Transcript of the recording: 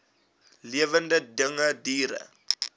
lewende dinge diere